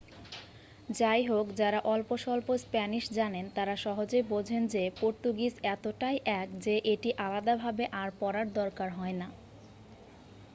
যাইহোক যারা অল্পস্বল্প স্প্যানিশ জানেন তারা় সহজেই বোঝেন যে পর্তুগিজ এতটাই এক যে এটি আলাদাভাবে আর পড়ার দরকার হয় না।